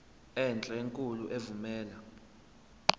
enhle enkulu evumela